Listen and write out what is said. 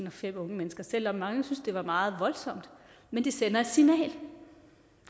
og fem unge mennesker selv om mange synes at det var meget voldsomt men det sender et signal